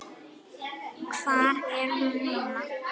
Hvar er hún núna?